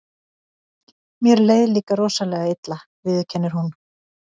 Mér leið líka rosalega illa, viðurkennir hún.